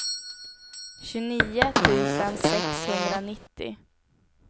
tjugonio tusen sexhundranittio